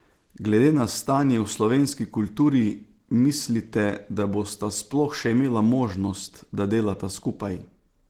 Glede na stanje v slovenski kulturi, mislite, da bosta sploh še imela možnost, da delata skupaj?